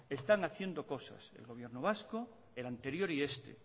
están haciendo cosas el gobierno vasco el anterior y este